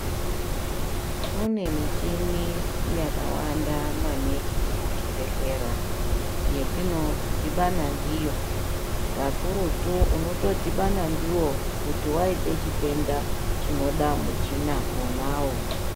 Kune michini yakawanda maningi muzvibhedhlera, yetinodhibana ndiyo, kakurutu unotodhibana ndiwo kuti waite chitenda chinoda michina wonawo.